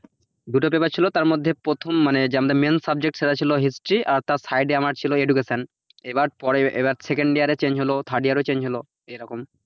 দুটো paper ছিল তার মধ্যে প্রথম মানে আমাদের যে main subject সেটা ছিল history আর তার side এ আমার ছিল education এবার পরে এবার second year এ change হল third year এও change হল এরকম,